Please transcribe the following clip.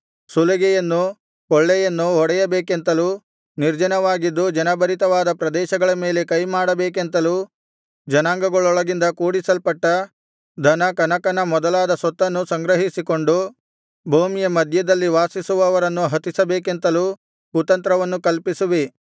ಸುಲಿಗೆಯನ್ನು ಕೊಳ್ಳೆಯನ್ನು ಹೊಡೆಯಬೇಕೆಂತಲೂ ನಿರ್ಜನವಾಗಿದ್ದು ಜನಭರಿತವಾದ ಪ್ರದೇಶಗಳ ಮೇಲೆ ಕೈಮಾಡಬೇಕೆಂತಲೂ ಜನಾಂಗಗಳೊಳಗಿಂದ ಕೂಡಿಸಲ್ಪಟ್ಟ ಧನ ಕನಕ ಮೊದಲಾದ ಸೊತ್ತನ್ನು ಸಂಗ್ರಹಿಸಿಕೊಂಡು ಭೂಮಿಯ ಮಧ್ಯದಲ್ಲಿ ವಾಸಿಸುವವರನ್ನು ಹತಿಸಬೇಕೆಂತಲೂ ಕುತಂತ್ರವನ್ನು ಕಲ್ಪಿಸುವಿ